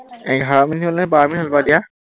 এঘাৰ মিনিট হল নে বাৰ মিনিট হল বাৰু এতিয়া?